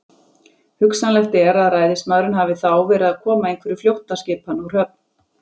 Hugsanlegt er, að ræðismaðurinn hafi þá verið að koma einhverju flóttaskipanna úr höfn.